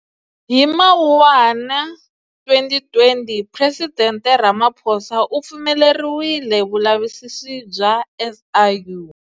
Hi Mawuwani 2020, Presidente Ramaphosa u pfumeleriwile vulavisisi bya SIU.